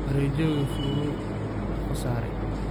Warejiyowki Fulu uukasarey.